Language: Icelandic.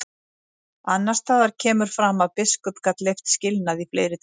Annars staðar kemur fram að biskup gat leyft skilnað í fleiri tilvikum.